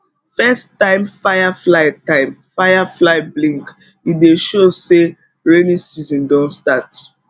first time firefly time firefly blink e dey show say rainy season don start